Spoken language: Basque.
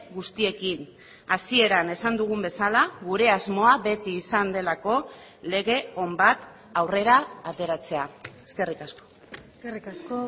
guztiekin hasieran esan dugun bezala gure asmoa beti izan delako lege on bat aurrera ateratzea eskerrik asko eskerrik asko